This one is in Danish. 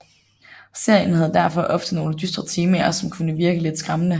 Serien havde derfor ofte nogle dystre temaer som kunne virke lidt skræmmende